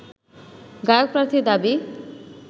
গায়ক প্রার্থীর দাবি